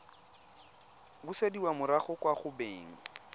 busediwa morago kwa go beng